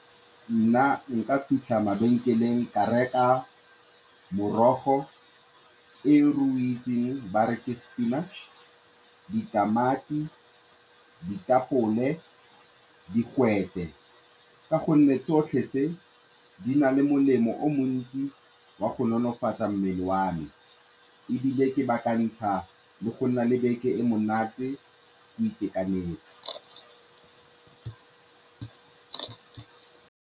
Nna nka fitlha mabenkeleng ka reka morogo o re o itseng ba re ke spinach, ditamati, ditapole digwete, ka gonne tsotlhe tse, di na le molemo o o montsi wa go nonofatsa mmele wa me ebile le go nna le beke e e monate, ke itekanetse.